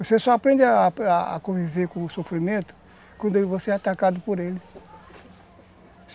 Você só aprende a a a conviver com o sofrimento quando você é atacado por ele.